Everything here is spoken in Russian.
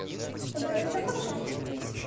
с тобой там все хорошо